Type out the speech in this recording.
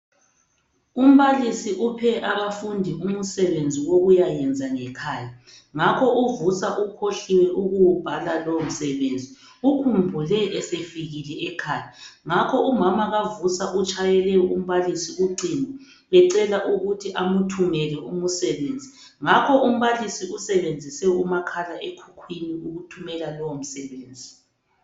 Umbalisi uphe abafundi umsebenzi wokuyayenza ngekhaya Ngakho uVusa ukhohliwe ukuwubhala lowomsebenzi. Ukhumbule esefikile ekhaya, Ngakho umama kaVusi utshayele umbalisi ucingo emcela ukuthi amthumele umsebenzi. Ngakho umbalisi usebenzise umakhala ekhukhwini ukuthumela lowomsebenzi.